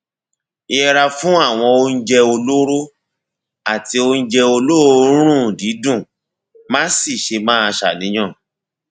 yẹra fún àwọn oúnjẹ olóró àti oúnjẹ olóòórùn dídùn má sì ṣe máa ṣàníyàn